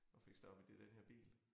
Og fik stoppet det i den her bil